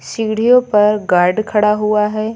सीढ़ियों पर गार्ड खड़ा हुआ है।